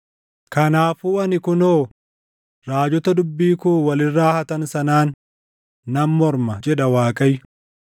“Kanaafuu ani kunoo raajota dubbii koo wal irraa hatan sanaan nan morma” jedha Waaqayyo.